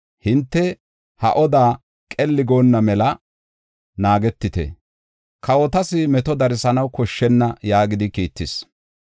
Hinte ha oda qelli goonna mela naagetite; kawotas meto darsanaw koshshenna” yaagidi kiittis.